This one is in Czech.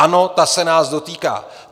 Ano, ta se nás dotýká.